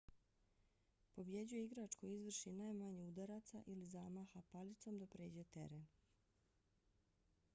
pobjeđuje igrač koji izvrši najmanje udaraca ili zamaha palicom da pređe teren